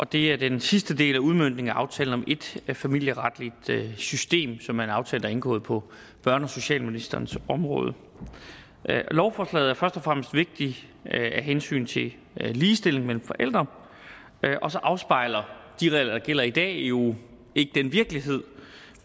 det er den sidste del af udmøntningen af aftalen om ét familieretligt system som er en aftale der er indgået på børne og socialministerens område lovforslaget er først og fremmest vigtigt af hensyn til ligestilling mellem forældre og så afspejler de regler der gælder i dag jo ikke den virkelighed